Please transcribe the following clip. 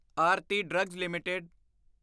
Aarti drugs LTD